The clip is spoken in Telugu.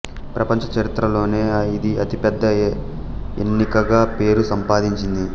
ప్రపంచ చరిత్రలోనే ఇది అతి పెద ఎన్నికగా పేరు సంపాదించింది